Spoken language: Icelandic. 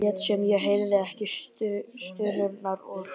Lét sem ég heyrði ekki stunurnar úr stofunni.